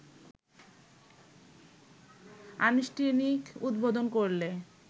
আনুষ্ঠানিক উদ্বোধন করলে